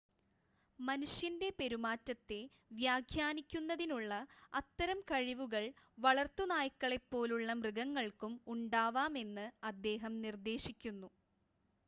മനുഷ്യൻ്റെ പെരുമാറ്റത്തെ വ്യാഖ്യാനിക്കുന്നതിനുള്ള അത്തരം കഴിവുകൾ വളർത്തു നായ്ക്കളെ പോലുള്ള മൃഗങ്ങൾക്കും ഉണ്ടാവാമെന്ന് അദ്ദേഹം നിർദ്ദേശിക്കുന്നു